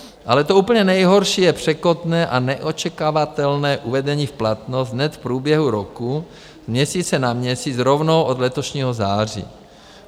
Ale to úplně nejhorší je překotné a neočekávatelné uvedení v platnost hned v průběhu roku z měsíce na měsíc rovnou od letošního září.